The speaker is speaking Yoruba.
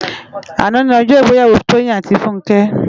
Àná ni òjò igbèyàwó Toyin áti Funke